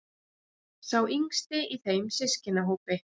Sá yngsti í þeim systkinahópi.